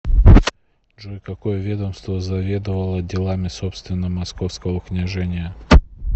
джой какое ведомство заведовало делами собственно московского княжения